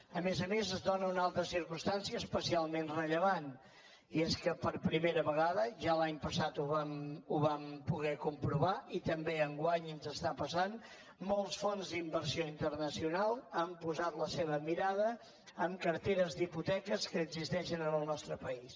a més a més es dóna una altra circumstància especialment rellevant i és que per primera vegada ja l’any passat ho vam poder comprovar i també enguany ens està passant molts fons d’inversió internacional han posat la seva mirada en carteres d’hipoteques que existeixen en el nostre país